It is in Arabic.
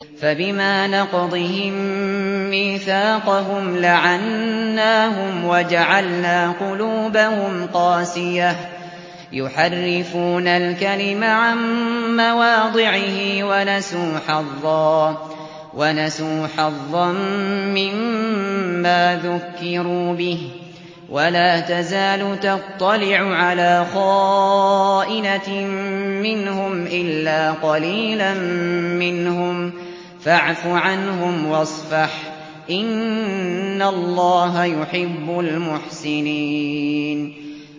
فَبِمَا نَقْضِهِم مِّيثَاقَهُمْ لَعَنَّاهُمْ وَجَعَلْنَا قُلُوبَهُمْ قَاسِيَةً ۖ يُحَرِّفُونَ الْكَلِمَ عَن مَّوَاضِعِهِ ۙ وَنَسُوا حَظًّا مِّمَّا ذُكِّرُوا بِهِ ۚ وَلَا تَزَالُ تَطَّلِعُ عَلَىٰ خَائِنَةٍ مِّنْهُمْ إِلَّا قَلِيلًا مِّنْهُمْ ۖ فَاعْفُ عَنْهُمْ وَاصْفَحْ ۚ إِنَّ اللَّهَ يُحِبُّ الْمُحْسِنِينَ